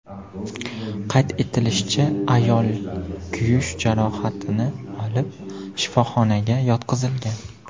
Qayd etilishicha, ayol kuyish jarohatini olib, shifoxonaga yotqizilgan.